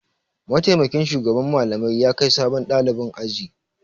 Mataimakin shugaban Mallamai ya kai sabon ɗalibin aji.